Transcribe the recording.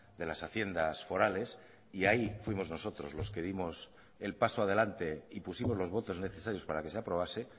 de las haciendas forales y ahí fuimos nosotros los que dimos el paso adelante y pusimos los votos necesarios para que se aprobase